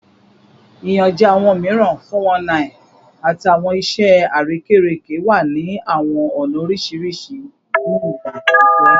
Iyanjẹ awọn miiran (419) ati awọn iṣẹ arekereke wa ni awọn ọna oriṣiriṣi ni igba atijọ